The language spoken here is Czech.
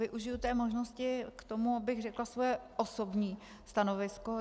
Využiji té možnosti k tomu, abych řekla svoje osobní stanovisko.